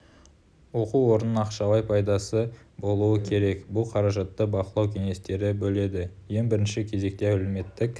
оқу орнының ақшалай пайдасы болуы керек бұл қаражатты бақылау кеңестері бөледі ең бірінші кезекте әлеуметтік